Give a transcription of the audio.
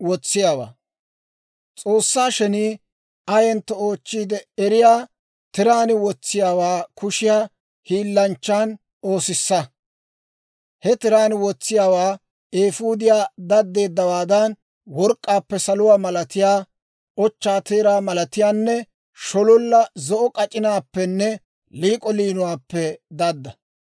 «S'oossaa shenii ayentto oochchiide eriyaa tiraan wotsiyaawaa kushiyaa hiilanchchaan oosissa. He tiraan wotsiyaawaa eefuudiyaa daddeeddawaadan, work'k'aappe, saluwaa malatiyaa, ochchaa teeraa malatiyaanne shololla zo'o k'ac'inaappenne liik'o liinuwaappe dadda.